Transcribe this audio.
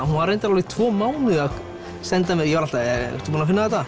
hún var reyndar alveg tvo mánuði að senda mér ég var alltaf ertu búin að finna þetta